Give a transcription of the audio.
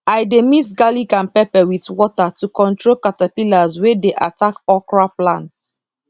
i dey mix garlic and pepper with water to control caterpillars wey dey attack okra plants